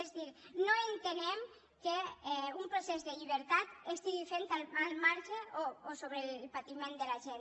és a dir no entenem que un procés de llibertat s’estigui fent al marge o sobre el patiment de la gent